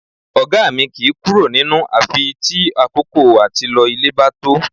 Ọ̀gá mi kìí kúrò nínú àfi tí àkókò àti lọ ilé bá tó